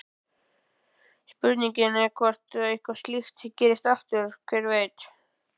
Spurningin er hvort að eitthvað slíkt gerist aftur, hver veit?